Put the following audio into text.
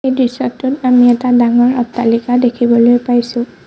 এই দৃশ্যটোত আমি এটা ডাঙৰ অট্টালিকা দেখিবলৈ পাইছোঁ।